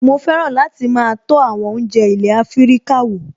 Mo fẹ́ràn láti máa tọ́ àwọn oúnjẹ ilé Afíríkà wò